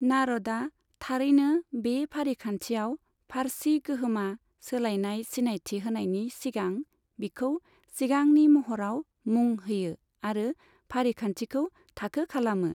नारदआ थारैनो बे फारिखान्थियाव फारसी गोहोमा सोलायनाय सिनायथि होनायनि सिगां बिखौ सिगांनि महराव मुं होयो आरो फारिखान्थिखौ थाखो खालामो।